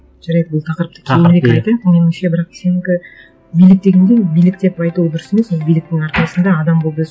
жарайды бұл тақырыпты меніңше бірақ сенікі билік дегенде билік деп айту дұрыс емес ол биліктің арқасында адам болды